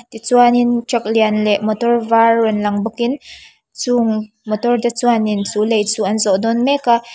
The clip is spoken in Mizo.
tichuanin truck lian leh motor var rawn lang bawk in chung motor te chuanin chu lei chu an zawh dawn mek a.